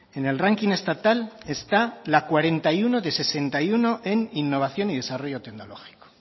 en el ranking estatal está la cuarenta y uno de sesenta y uno en innovación y desarrollo tecnológico